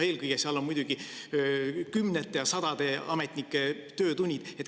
Eelkõige on seal muidugi kümnete ja sadade ametnike töötunnid.